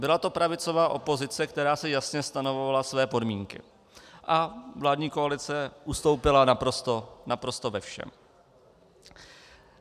Byla to pravicová opozice, která si jasně stanovovala své podmínky, a vládní koalice ustoupila naprosto ve všem.